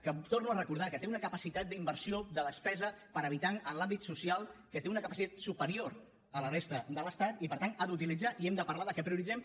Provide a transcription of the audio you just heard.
que torno a recordar que té una capacitat d’inversió de despesa per habitant en l’àmbit social superior a la de la resta de l’estat i per tant l’ha d’utilitzar i hem de parlar de què prioritzem